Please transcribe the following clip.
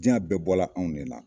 Diɲan bɛɛ bɔra anw ne na